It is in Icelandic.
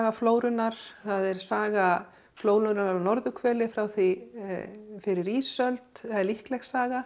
flórunnar það er saga flórunnar á norðurhveli frá því fyrir ísöld eða líkleg saga